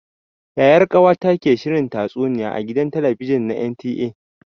Yayar ƙawata ke shirin tatsuniya a gidan talabijin na NTA.